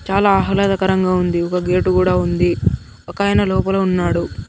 చాలా ఆహ్లాదకరంగా ఉంది ఒక గేటు కూడా ఉంది ఒకాయన లోపల ఉన్నాడు.